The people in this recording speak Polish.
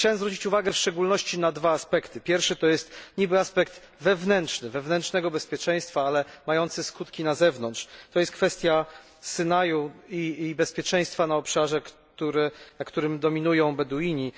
Chciałbym zwrócić uwagę w szczególności na dwa aspekty pierwszy to jest niby aspekt wewnętrzny, wewnętrznego bezpieczeństwa, jednak mający skutki na zewnątrz to jest kwestia Synaju i bezpieczeństwa na obszarze, gdzie dominują Beduini.